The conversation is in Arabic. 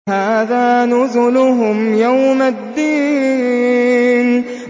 هَٰذَا نُزُلُهُمْ يَوْمَ الدِّينِ